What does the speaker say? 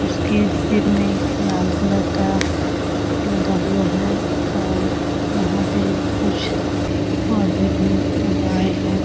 उसके सिर में लाल कलर का लगा हुआ है और यहां पे कुछ पौधे भी उगाए हैं।